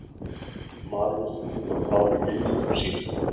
María segir svo frá í minningum sínum